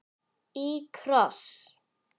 Í kross.